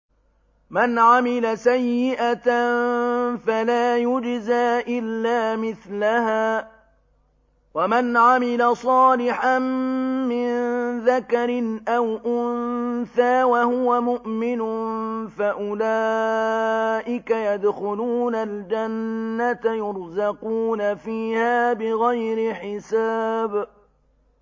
مَنْ عَمِلَ سَيِّئَةً فَلَا يُجْزَىٰ إِلَّا مِثْلَهَا ۖ وَمَنْ عَمِلَ صَالِحًا مِّن ذَكَرٍ أَوْ أُنثَىٰ وَهُوَ مُؤْمِنٌ فَأُولَٰئِكَ يَدْخُلُونَ الْجَنَّةَ يُرْزَقُونَ فِيهَا بِغَيْرِ حِسَابٍ